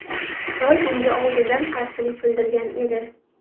Xitoy bunga oldindan qarshilik bildirgan edi.